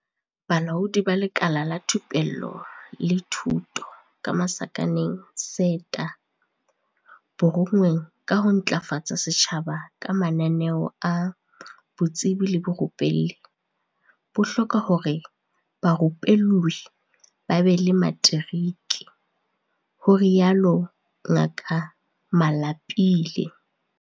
"Bolaodi ba Lekala la Thupello le Thuto, SETA, bo rongweng ka ho ntlafatsa setjhaba ka mananeo a botsebi le borupelli, bo hloka hore barupellwi ba be le materiki," ho rialo Ngaka Malapile.